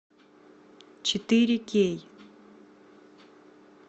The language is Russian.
четыре кей